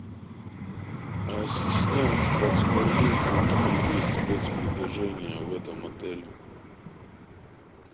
ассистент подскажи какие есть спецпредложения в этом отеле